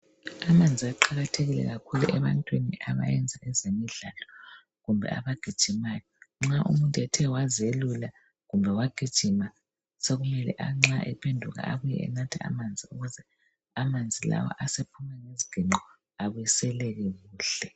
Amanzi aqakathekile kakhulu ebantwini abayenza ezemidlalo. Kumbe abagijimayo. Nxa umuntu ethe wazelula kumbe wagijima. Sekumele nxa ephenduka abuye enatha amanzi ukuze amanzi lawa asephume ngeziginqo abiseleke kuhle.